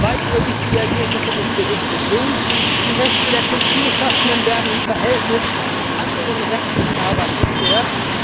Weitere wichtige Ergebnisse des Berichts sind Die Rechte der Kulturschaffenden werden im Verhältnis zu anderen Rechteinhabern gestärkt.